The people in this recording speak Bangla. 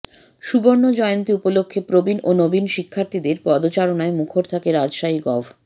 সুবর্ণজয়ন্তী উপলক্ষ্যে প্রবীণ ও নবীন শিক্ষার্থীদের পদচারণায় মুখর থাকে রাজশাহী গভ